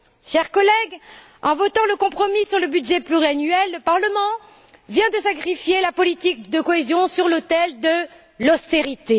Chers collègues en votant le compromis sur le budget pluriannuel, le Parlement vient de sacrifier la politique de cohésion sur l'autel de l'austérité.